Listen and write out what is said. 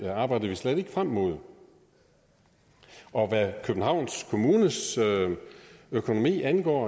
arbejder vi slet ikke frem mod hvad københavns kommunes økonomi angår